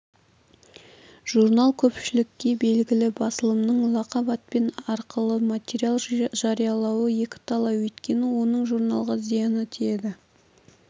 журнал көпшілікке белгілі басылымның лақап атпен арқылы материал жариялауы екіталай өйткені оның журналға зияны тиеді